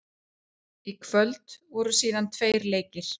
Í kvöld voru síðan tveir leikir.